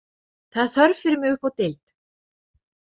Það er þörf fyrir mig uppi á deild.